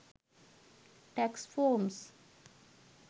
tax forms